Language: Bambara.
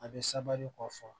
A bɛ kɔ fɔ